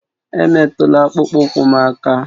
Emetụla akpụkpọ ụkwụ m aka!